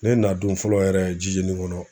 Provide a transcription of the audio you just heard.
Ne nadon fɔlɔ yɛrɛ Didiéni kɔnɔ